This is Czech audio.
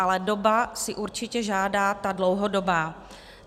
Ale doba si určitě žádá ta dlouhodobá.